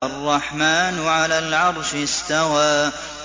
الرَّحْمَٰنُ عَلَى الْعَرْشِ اسْتَوَىٰ